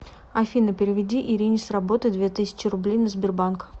афина переведи ирине с работы две тысячи рублей на сбербанк